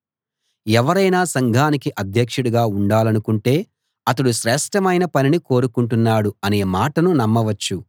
ఎవరైనా సంఘానికి అధ్యక్షుడుగా ఉండాలనుకుంటే అతడు శ్రేష్ఠమైన పనిని కోరుకుంటున్నాడు అనే మాటను నమ్మవచ్చు